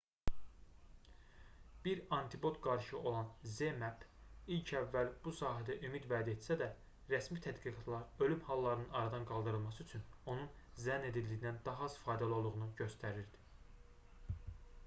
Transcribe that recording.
bir antipod qarışığı olan zmapp ilk əvvəl bu sahədə ümid vəd etsə də rəsmi tədqiqatlar ölüm hallarının aradan qaldırılması üçün onun zənn edildiyindən daha az faydalı olduğunu göstərirdi